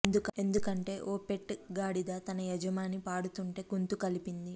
ఎందుకంటే ఓ పెట్ గాడిద తన యజమాని పాడుతుంటే గొంతు కలిపింది